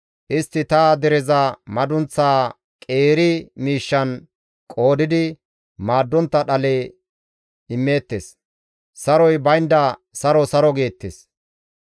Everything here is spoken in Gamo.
Istti ta dereza madunththaa qeeri miishshan qoodidi maaddontta dhale immeettes; saroy baynda, ‹Saro, saro› geettes.